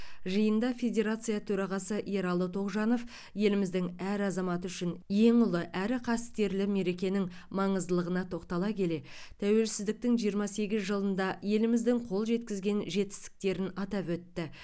жиында федерация төрағасы ералы тоғжанов еліміздің әр азаматы үшін ең ұлы әрі қастерлі мерекенің маңыздылығына тоқтала келе тәуелсіздіктің жиырма сегіз жылында еліміздің қол жеткізген жетістіктерін атап өтті